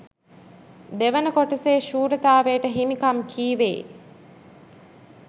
දෙවන කොටසේ ශූරතාවයට හිමිකම් කීවේ